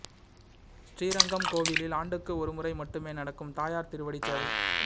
ஸ்ரீரங்கம் கோவிலில் ஆண்டுக்கு ஒரு முறை மட்டுமே நடக்கும் தாயார் திருவடி சேவை